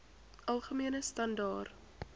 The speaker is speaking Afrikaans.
algemene standaar